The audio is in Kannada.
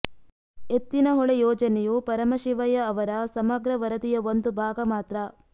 ಎತ್ತಿನಹೊಳೆ ಯೋಜನೆಯು ಪರಮಶಿವಯ್ಯ ಅವರ ಸಮಗ್ರ ವರದಿಯ ಒಂದು ಭಾಗ ಮಾತ್ರ